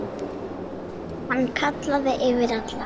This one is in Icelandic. Hann kallaði yfir alla.